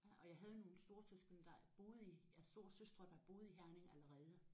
Ja og jeg havde nogle storesøskende der boede i ja storesøstre der boede i Herning allerede